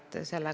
Aitäh!